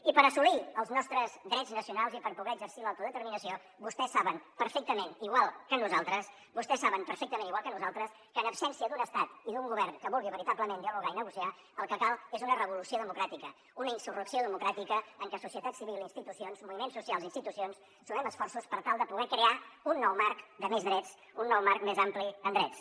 i per assolir els nostres drets nacionals i per poder exercir l’autodeterminació vostès saben perfectament igual que nosaltres vostès saben perfectament igual que nosaltres que en absència d’un estat i d’un govern que vulgui veritablement dialogar i negociar el que cal és una revolució democràtica una insurrecció democràtica en què societat civil i institucions moviments socials i institucions sumem esforços per tal de poder crear un nou marc de més drets un nou marc més ampli en drets